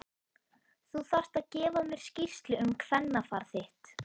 Þú þarft að gefa mér skýrslu um kvennafar þitt!